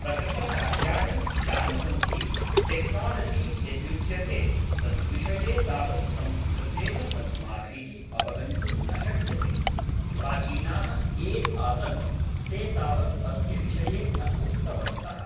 प्रकृतकार्याणि यानि सन्ति टेक्नोलजि यदुच्यते तद्विषये तावत् संस्कृतेन अस्माभिः अवगन्तुं न शक्यते प्राचीनाः ये आसन् ते तावत् अस्य विषये न उक्तवन्तः